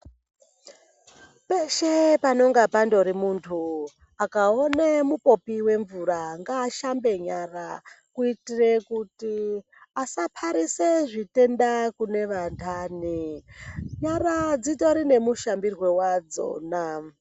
Peshe panenga pandoti muntu akaone mupopi wemvura ngaashambe nyara kuitire kuti asatarise zvitenda kune vantani. Nyara dzitori nemushambirwe wadzona.